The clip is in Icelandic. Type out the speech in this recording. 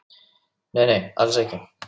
Nei, nei, alls ekki.